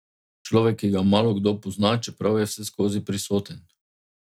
Človek, ki ga malokdo pozna, čeprav je vseskozi prisoten.